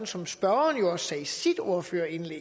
som spørgeren også sagde i sin ordførertale